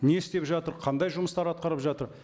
не істеп жатыр қандай жұмыстар атқарып жатыр